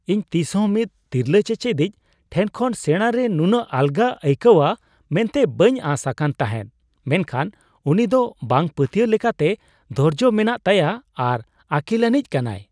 ᱤᱧ ᱛᱤᱥᱦᱚᱸ ᱢᱤᱫ ᱛᱤᱨᱞᱟᱹ ᱪᱮᱪᱮᱫᱤᱡᱽ ᱴᱷᱮᱱ ᱠᱷᱚᱱ ᱥᱮᱸᱲᱟ ᱨᱮ ᱱᱩᱱᱟᱹᱜ ᱟᱞᱜᱟ ᱟᱹᱭᱠᱟᱹᱣᱟᱹ ᱢᱮᱱᱛᱮ ᱵᱟᱹᱧ ᱟᱸᱥ ᱟᱠᱟᱱ ᱛᱟᱦᱮᱸᱜ, ᱢᱮᱱᱠᱷᱟᱱ ᱩᱱᱤ ᱫᱚ ᱵᱟᱝᱼᱯᱟᱹᱛᱭᱟᱹᱣ ᱞᱮᱠᱟᱛᱮ ᱫᱷᱳᱨᱡᱳ ᱢᱮᱱᱟᱜ ᱛᱟᱭᱟ ᱟᱨ ᱟᱹᱠᱤᱞᱟᱹᱱᱤᱡ ᱠᱟᱱᱟᱭ ᱾